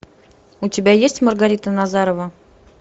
у тебя есть маргарита назарова